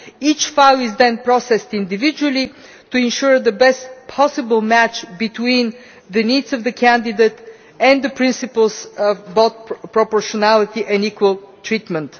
Each file is then processed individually to ensure the best possible match between the needs of the candidate and the principles of both proportionality and equal treatment.